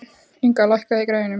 Inga, lækkaðu í græjunum.